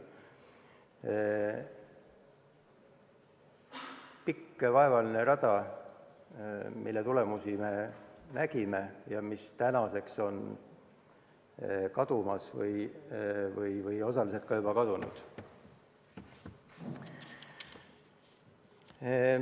See on pikk ja vaevaline rada, mille tulemusi me nägime ja mis tänaseks on kadumas või osaliselt juba kadunud.